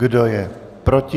Kdo je proti?